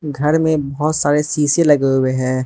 घर में बहोत सारे शीशे लगे हुए हैं।